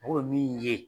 O ye min ye